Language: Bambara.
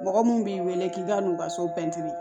Mɔgɔ mun b'i wele k'i ka n'u ka so